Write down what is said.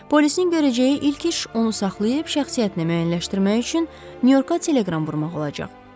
Polisin görəcəyi ilk iş onu saxlayıb şəxsiyyətnə müəyyənləşdirmək üçün Nyu-Yorka teleqram vurmaq olacaq.